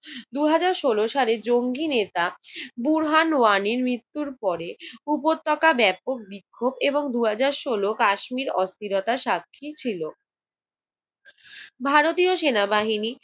দুই হাজার ষোল সালে জঙ্গি নেতা বোরহান ওয়ানির মৃত্যুর পরে উপত্যকা ব্যাপক বিক্ষোভ এবং দু হাজার ষোল কাশ্মীর অস্থিরতা সাক্ষী ছিল। ভারতীয় সেনাবাহিনী